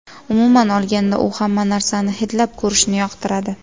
Umuman olganda, u hamma narsani hidlab ko‘rishni yoqtiradi.